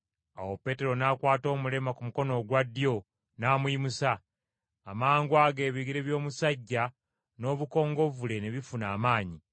Awo Peetero n’akwata omulema ku mukono ogwa ddyo n’amuyimusa, amangwago ebigere by’omusajja n’obukongovvule ne bifuna amaanyi,